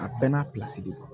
A bɛɛ n'a pilasi de don